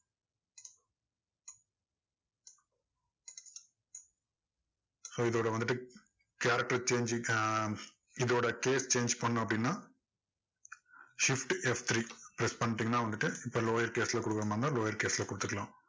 so இதோட வந்துட்டு character change ஞ்சு இதோட case change பண்ணனும் அப்படின்னா shift F three press பண்ணிட்டீங்கன்னா வந்துட்டு lower case ல கொடுக்கிற மாதிரி இருந்தா lower case ல கொடுத்துக்கலாம்